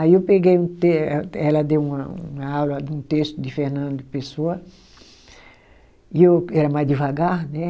Aí eu peguei, ela ela deu uma aula de um texto de Fernando Pessoa, e eu era mais devagar, né?